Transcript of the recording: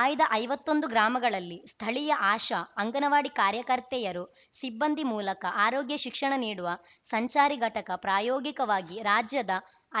ಆಯ್ದ ಐವತ್ತೊಂದು ಗ್ರಾಮಗಳಲ್ಲಿ ಸ್ಥಳೀಯ ಆಶಾ ಅಂಗನವಾಡಿ ಕಾರ್ಯಕರ್ತೆಯರು ಸಿಬ್ಬಂದಿ ಮೂಲಕ ಆರೋಗ್ಯ ಶಿಕ್ಷಣ ನೀಡುವ ಸಂಚಾರಿ ಘಟಕ ಪ್ರಾಯೋಗಿಕವಾಗಿ ರಾಜ್ಯದ